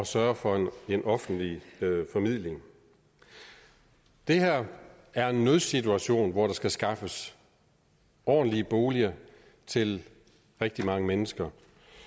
sørge for en offentlig formidling det her er en nødsituation hvor der skal skaffes ordentlige boliger til rigtig mange mennesker